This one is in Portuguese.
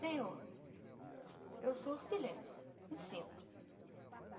Senhor, eu sou o silêncio e sinto.